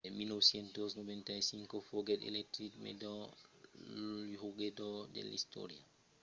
en 1995 foguèt elegit melhor jogador de l'istòria del partizan